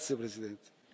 Grazie Presidente,